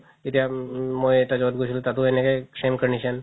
এতিয়া উম মই এতিয়া য'ত গৈছিলো তাতো এনেকে same condition